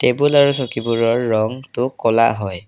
Table আৰু চকীবোৰৰ ৰংটো ক'লা হয়।